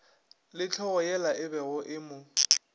le hlogoyela ebego e mo